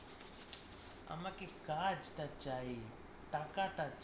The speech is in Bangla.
আমাকে কাজটা চাই, টাকাটা